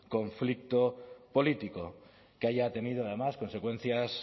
conflicto político que haya tenido además consecuencias